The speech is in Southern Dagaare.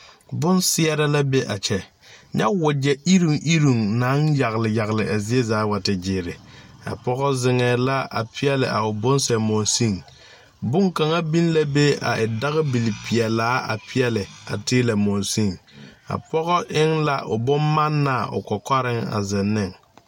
Bonseɛrɛ la be a kyɛ nyɛ wogyɛ iruŋ iruŋ naŋ yagle yagle a zie zaa wa te gyeere a pɔgɔ zeŋɛɛ la peɛɛli a o bonsɛ monsene bonkaŋa biŋ la be a e dagbil pilaa a peɛɛli teelɛ monsene a pɔgɔ eŋ la o bonmannaa o kɔkɔreŋ a zeŋ neŋ.